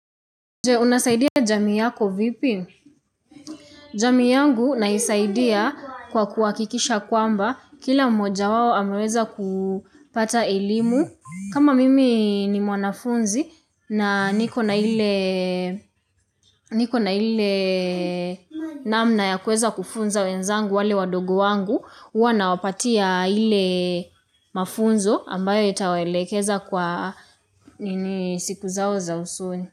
Je, unasaidia jamii yako vipi? Jamii yangu naisaidia kwa kuhakikisha kwamba. Kila mmoja wao ameweza kupata elimu. Kama mimi ni mwanafunzi na niko na ile namna ya kuweza kufunza wenzangu wale wadogo wangu, huwa nawapatia ile mafunzo ambayo yatawaelekeza kwa siku zao za usoni.